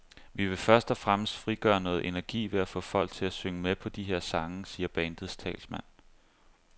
Vi vil først og fremmest frigøre noget energi ved at få folk til at synge med på de her sange, siger bandets talsmand.